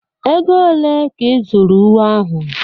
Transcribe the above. Ego ole ka ị zụrụ uwe ahụ?